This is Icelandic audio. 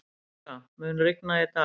Róska, mun rigna í dag?